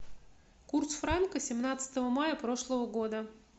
курс франка семнадцатого мая прошлого года